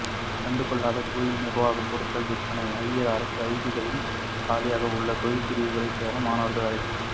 கண்டு கொள்ளாத கோயில் நிர்வாகம் பொருட்கள் விற்பனை ஜரூர் அரசு ஐடிஐக்களில் காலியாக உள்ள தொழிற்பிரிவுகளில் சேர மாணவர்களுக்கு அழைப்பு